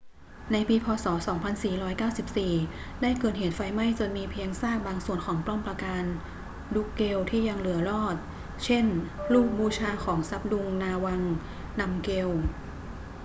ในปี พ. ศ. 2494 ได้เกิดเหตุไฟไหม้จนมีเพียงซากบางส่วนของป้อมปราการดรุ๊กเกลที่ยังเหลือรอด เช่น รูปบูชาของซับดุง นาวัง นำเกล